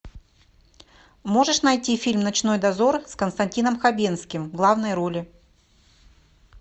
можешь найти фильм ночной дозор с константином хабенским в главной роли